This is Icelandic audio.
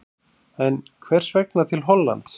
En hvers vegna til Hollands?